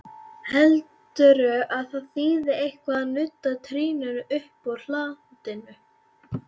Heldurðu að það þýði eitthvað að nudda trýninu uppúr hlandinu!